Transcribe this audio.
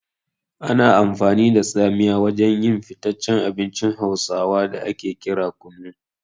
Ana amfani da tsamiya wajen yin fitaccen abincin hausawa da ake kira kunu.